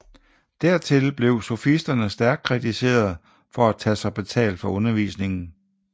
Dertil blev sofisterne stærkt kritiseret for at tage sig betalt for undervisningen